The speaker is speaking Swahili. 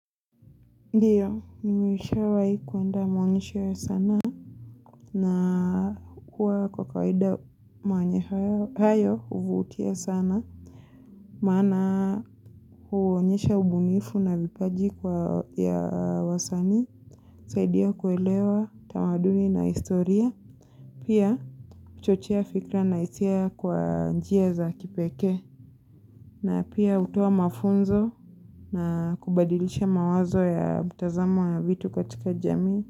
Ndio, nimeshawahi kuenda maonyesho ya sanaa na huwa kwa kawaida maonyesho hayo huvutia sana. Maana huonyesha ubunifu na vipaji ya wasanii. Saidia kuelewa, tamaduni na historia. Pia, kuchochea fikra na hisia kwa njia za kipekee. Na pia hutoa mafunzo na kubadilisha mawazo ya mtazamo ya vitu katika jamii.